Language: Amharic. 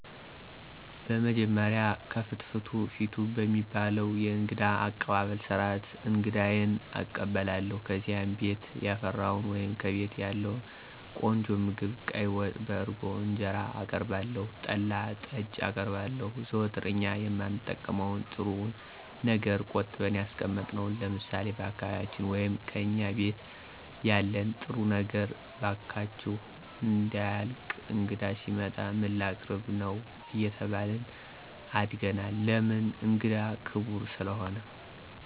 በመጀመሪያ "ከፍትፍቱ ፊቱ" በሚባለዉ የእንግዳ አቀባበል ስርዓት አንግዳየን እቀበላለሁ። ከዚያም ቤት ያፈራዉን ወይም ከቤቴ ያለዉን ቆንጆ ምግብ ቀይ ወጥ፣ በእርጎ እንጀራአቀርባለሁ, ጠላ, ጠጅ አቀርባለሁ, ዘወትር እኛ የማንጠቀመዉን ጥሩዉን ነገር ቆጥበን ያስቀመጥነዉን ለምሳሌ፦ በአካባቢያችን ወይም "ከእኛ ቤት ያለን ጥሩዉ ነገር እባካችሁ እንዳያልቅ እንግዳ ሲመጣ ምን ላቀርብ ነዉ አየተባልን አድገናል ለምን እንግዳ ክብር ስለሆነ።